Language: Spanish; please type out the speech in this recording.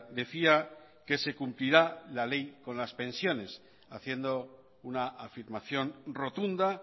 decía que se cumplirá la ley con las pensiones haciendo una afirmación rotunda